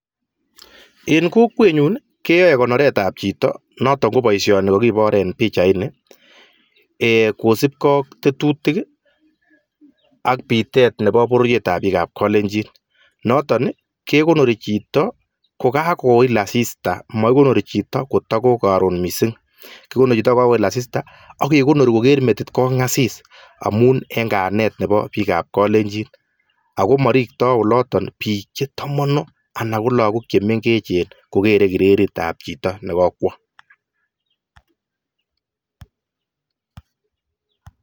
En kokwet nyun keyai konoret ab borto kosubkei ak panganutik ab bik ak kekonori chi eng saishek ab chekakwo asis ak koker metinyi Kong asis.